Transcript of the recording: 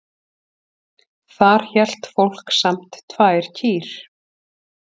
Þar hélt fólk samt tvær kýr.